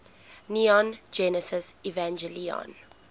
neon genesis evangelion